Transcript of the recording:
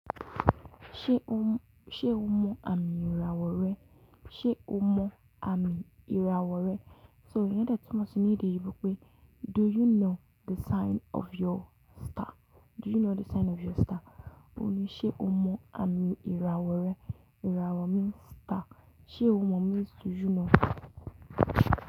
Ṣé o mọ àmì ìràwọ̀ rẹ? Ṣé o mọ àmì ìràwọ̀ rẹ? So iyen de tunmo si ní ede eyinbo pé "do you know the sign of your star"? Do you know the sign of your star? O ní ṣé o mọ àmì ìràwọ̀ rẹ? Ìràwọ̀ means star. Ṣé o mọ means do you know.